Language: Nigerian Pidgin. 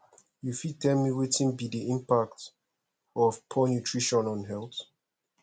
you fit tell me wetin be di impact of poor nutrition on health